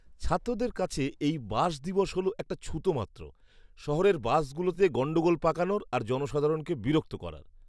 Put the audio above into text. ছাত্রদের কাছে এই বাস দিবস হল একটা ছুতো মাত্র; শহরের বাসগুলোতে গণ্ডগোল পাকানোর আর জনসাধারণকে বিরক্ত করার।